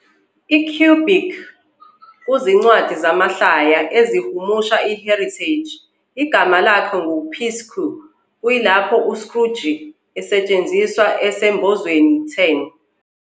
EQuebec, kuzincwadi zamahlaya ezihumusha uHéritage, igama lakhe ngu- "Picsou" kuyilapho u- "Scrooge" esetshenziswa esembozweni10.